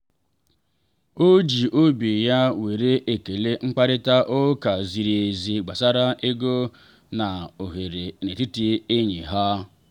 o ji obi ya were ekele mkparịta ụka ziri ezi gbasara ego na ohere n’etiti enyi ha.